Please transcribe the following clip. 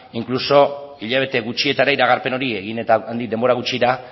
inkluso hilabete gutxietara iragarpen hori egin eta handik denbora gutxira